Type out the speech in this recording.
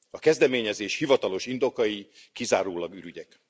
A kezdeményezés hivatalos indokai kizárólag ürügyek.